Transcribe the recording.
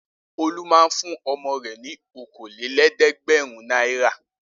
Olú máa ń fún ọmọ rẹ̀ ní okòólé lẹ́ẹ̀dẹ́gbẹ̀rún náírà.